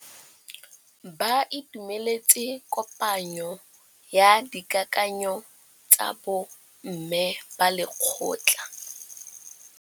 Ba itumeletse kôpanyo ya dikakanyô tsa bo mme ba lekgotla.